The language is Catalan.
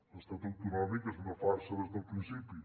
l’estat autonòmic és una farsa des del principi